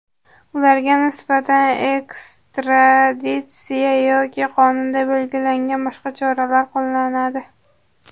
Ularga nisbatan ekstraditsiya yoki qonunda belgilangan boshqa choralar qo‘llanadi.